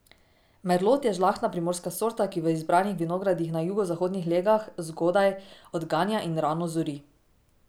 Merlot je žlahtna primorska sorta, ki v izbranih vinogradih na jugozahodnih legah zgodaj odganja in rano zori.